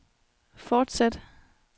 fortsæt